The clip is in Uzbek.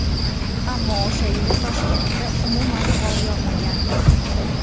Ammo o‘sha yili Toshkentda umuman qor yog‘magan.